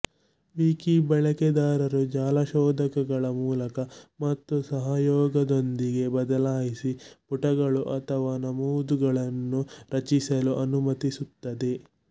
wiki ಬಳಕೆದಾರರು ಜಾಲ ಶೋಧಕಗಳ ಮೂಲಕ ಮತ್ತು ಸಹಯೋಗದೊಂದಿಗೆ ಬದಲಾಯಿಸಿ ಪುಟಗಳು ಅಥವಾ ನಮೂದುಗಳನ್ನು ರಚಿಸಲು ಅನುಮತಿಸುತ್ತದೆ